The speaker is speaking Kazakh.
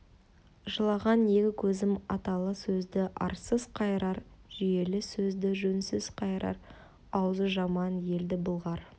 жылаған екі көзім аталы сөзді арсыз қайырар жүйелі сөзді жөнсіз қайырар аузы жаман елді былғар